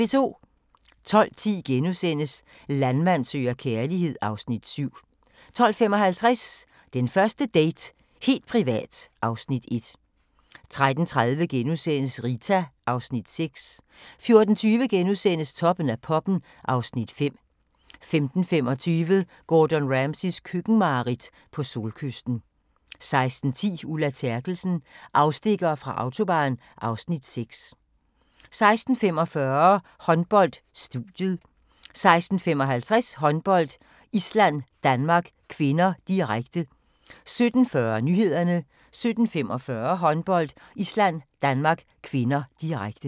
12:10: Landmand søger kærlighed (Afs. 7)* 12:55: Den første date - helt privat (Afs. 1) 13:30: Rita (Afs. 6)* 14:20: Toppen af poppen (Afs. 5)* 15:25: Gordon Ramsays køkkenmareridt - på solkysten 16:10: Ulla Terkelsen - afstikkere fra Autobahn (Afs. 6) 16:45: Håndbold: Studiet 16:55: Håndbold: Island-Danmark (k), direkte 17:40: Nyhederne 17:45: Håndbold: Island-Danmark (k), direkte